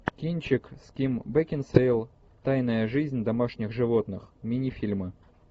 кинчик с ким бекинсейл тайная жизнь домашних животных мини фильмы